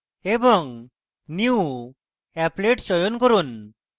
এবং new> applet চয়ন করুন